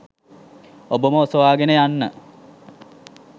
ඔබම ඔසවාගෙන යන්න!